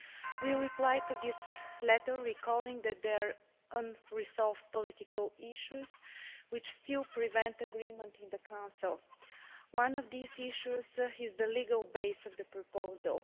We replied to this letter, recalling that there are unresolved political issues which still prevent agreement in the Council. One of these issues is the legal base of the proposal.